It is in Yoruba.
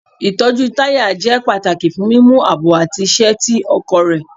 Itọju taya jẹ pataki fun mimu aabo ati iṣẹ ti ọkọ rẹ